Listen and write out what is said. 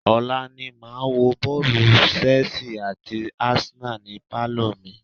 Ọ̀la ni màá wo bọ́ọ̀lù Chelse àti Arsenal ni pálọ̀ mi.